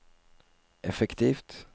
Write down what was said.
effektivt